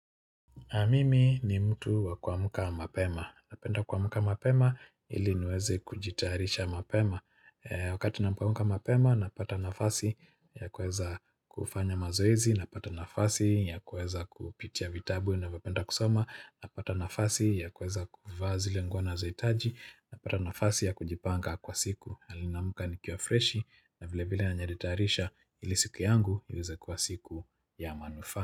A mimi ni mtu wa kuamka mapema. Napenda kuamka mapema ili niweze kujitaharisha mapema. Wakati napoamka mapema napata nafasi ya kuweza kufanya mazoezi, napata nafasi ya kuweza kupitia vitabu navyo penda kusoma, napata nafasi ya kuweza kuvaa zile nguo nazoitaji, napata nafasi ya kujipanga kwa siku. Hali naamka nikiwa freshi na vile vile najitayarisha ili siku yangu iweze kuwa siku ya manufaa.